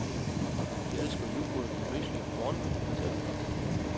De elsker yoghurt med mysli om morgenen, fortæller kokken.